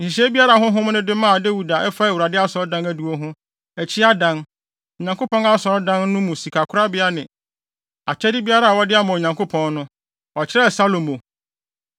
Nhyehyɛe biara a Honhom no de maa Dawid a ɛfa Awurade Asɔredan adiwo ho, akyi adan, Onyankopɔn Asɔredan no mu sikakorabea ne akyɛde a wɔde ama Onyankopɔn no, ɔkyerɛɛ Salomo.